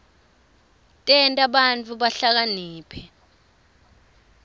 tenta bantfu bahlakaniphe